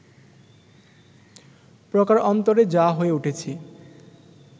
প্রকারন্তরে যা হয়ে উঠেছে